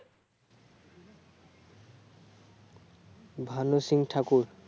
Bhanu Singh Thakur